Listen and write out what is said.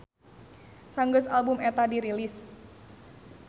Sanggeus album eta dirilis.